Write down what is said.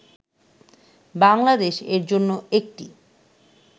বাংলাদেশ এর জন্য একটি